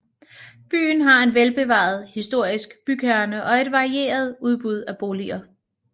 Byen har en velbevaret historisk bykerne og et varieret udbud af boliger